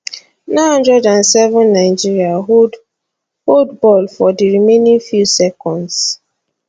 907 nigeria hold hold ball for di remaining few seconds